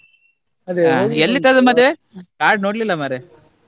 card ನೋಡ್ಲಿಲ್ಲ ಮರ್ರೆ.